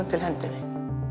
til hendinni